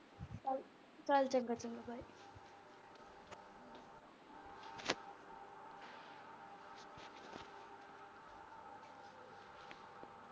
ਚੱਲ ਚੰਗਾ ਫਿਰ।